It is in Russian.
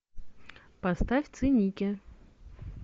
поставь циники